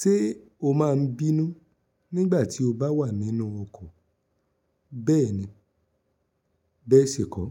Ṣé o máa ń bínú nígbà tí o bá wà nínú ọkọ̀? Bẹ́ẹ̀ni, bẹ́ẹ̀ ṣi kọ́.